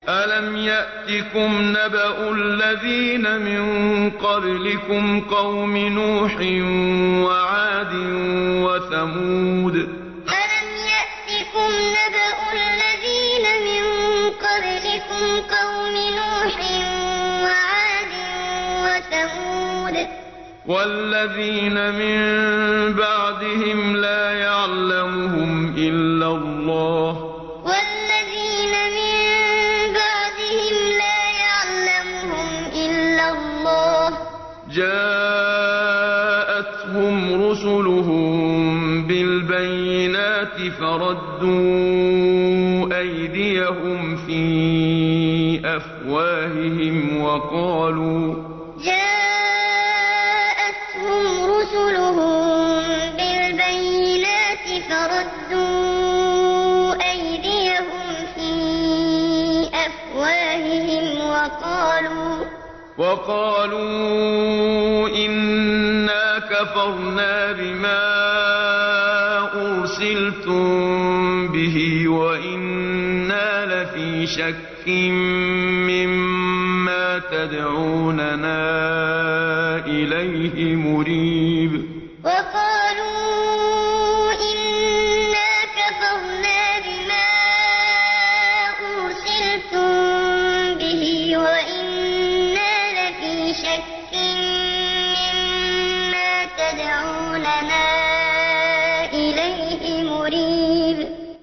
أَلَمْ يَأْتِكُمْ نَبَأُ الَّذِينَ مِن قَبْلِكُمْ قَوْمِ نُوحٍ وَعَادٍ وَثَمُودَ ۛ وَالَّذِينَ مِن بَعْدِهِمْ ۛ لَا يَعْلَمُهُمْ إِلَّا اللَّهُ ۚ جَاءَتْهُمْ رُسُلُهُم بِالْبَيِّنَاتِ فَرَدُّوا أَيْدِيَهُمْ فِي أَفْوَاهِهِمْ وَقَالُوا إِنَّا كَفَرْنَا بِمَا أُرْسِلْتُم بِهِ وَإِنَّا لَفِي شَكٍّ مِّمَّا تَدْعُونَنَا إِلَيْهِ مُرِيبٍ أَلَمْ يَأْتِكُمْ نَبَأُ الَّذِينَ مِن قَبْلِكُمْ قَوْمِ نُوحٍ وَعَادٍ وَثَمُودَ ۛ وَالَّذِينَ مِن بَعْدِهِمْ ۛ لَا يَعْلَمُهُمْ إِلَّا اللَّهُ ۚ جَاءَتْهُمْ رُسُلُهُم بِالْبَيِّنَاتِ فَرَدُّوا أَيْدِيَهُمْ فِي أَفْوَاهِهِمْ وَقَالُوا إِنَّا كَفَرْنَا بِمَا أُرْسِلْتُم بِهِ وَإِنَّا لَفِي شَكٍّ مِّمَّا تَدْعُونَنَا إِلَيْهِ مُرِيبٍ